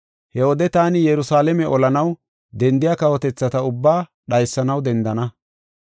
He wode taani Yerusalaame olanaw dendiya kawotethata ubbaa dhaysanaw dendana.